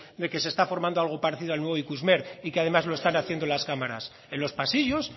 de que se está formando algo parecido al nuevo ikusmer y que además lo están haciendo las cámaras en los pasillos